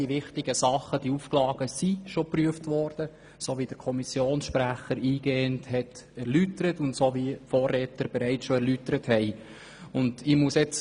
Die wichtigen Punkte beziehungsweise die Auflagen wurden bereits geprüft, wie dies eingehend vom Kommissionssprecher und den Vorrednern erläutert worden ist.